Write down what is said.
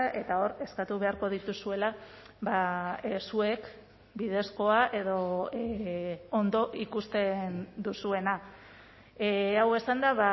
eta hor eskatu beharko dituzuela zuek bidezkoa edo ondo ikusten duzuena hau esanda